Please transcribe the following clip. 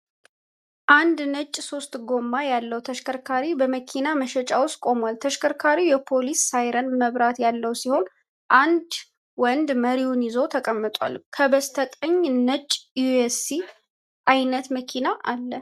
አንድ ነጭ ሶስት ጎማ ያለው ተሽከርካሪ በመኪና መሸጫ ውስጥ ቆሟል። ተሽከርካሪው የፖሊስ ሳይረን መብራት ያለው ሲሆን፣ አንድ ወንድ መሪውን ይዞ ተቀምጧል። ከበስተቀኝ ነጭ ኤስዩቪ አይነት መኪና አለ።